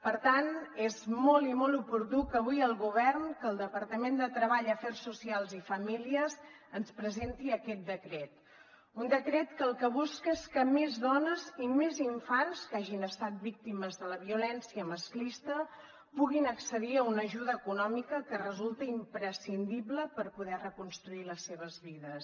per tant és molt i molt oportú que avui el govern que el departament de treball afers socials i famílies ens presenti aquest decret un decret que el que busca és que més dones i més infants que hagin estat víctimes de la violència masclista puguin accedir a una ajuda econòmica que resulta imprescindible per poder reconstruir les seves vides